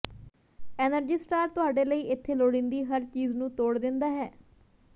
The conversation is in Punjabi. ਐਨਰਜੀ ਸਟਾਰ ਤੁਹਾਡੇ ਲਈ ਇੱਥੇ ਲੋੜੀਂਦੀ ਹਰ ਚੀਜ਼ ਨੂੰ ਤੋੜ ਦਿੰਦਾ ਹੈ